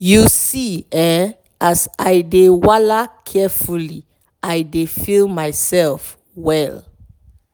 you see[um]as i dey wala carefully i dey feel myself well